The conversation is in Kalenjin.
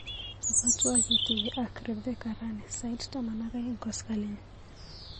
Ibwatwa ketuye ak Reveca rani sait taman ak aeng koskoliny.